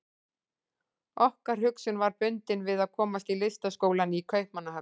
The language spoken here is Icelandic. Okkar hugsun var bundin við að komast í Listaskólann í Kaupmannahöfn.